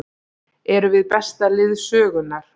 Erum við besta lið sögunnar?